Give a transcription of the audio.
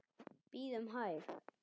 Bíðum hæg.